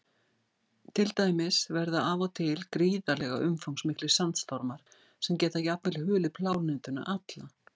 Til dæmis verða af og til gríðarlega umfangsmiklir sandstormar sem geta jafnvel hulið plánetuna alla.